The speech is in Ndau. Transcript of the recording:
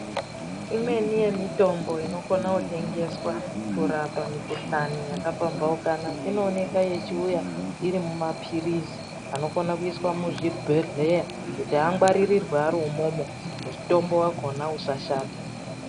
Imweni yemitombo iokwanisa kutengeswa kurapa mukuhlani yakapambanuka inooneka kuya iri mumapilizi anokone kuiswa muzvibhedhlera kuti achengeterwe ari mona imomo kuitira kuti mutombo yakona isa shata.